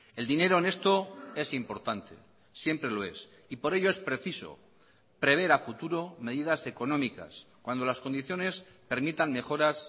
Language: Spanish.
el dinero en esto es importante siempre lo es y por ello es preciso prever a futuro medidas económicas cuando las condiciones permitan mejoras